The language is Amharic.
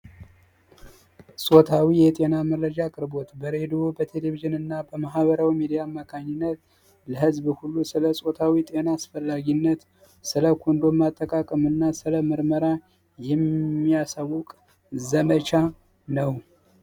ፆታዊ የጤና መረጃ ክርቦት በሬድዎ በቴሌቪዥን እና በማሀበረዊ የሜዲያ መካኒነት ለህዝብ ሁሉ ስለ ጾታዊ ጤና አስፈላጊነት ስለ ኮንዶም አጠቃቅምና ስለ ምርመራ የሚያሳውቅ ዘመቻ ነው።